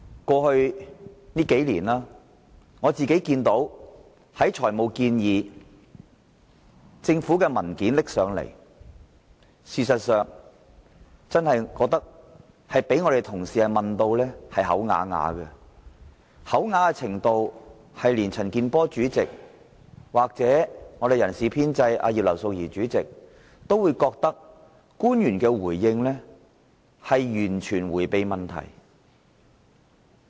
過去數年，官員就政府的財務建議及其提交的文件，經常被議員同事問得啞口無言，甚至連財務委員會主席陳健波議員及人事編制小組委員會主席葉劉淑儀議員都認為官員的回應是在迴避問題。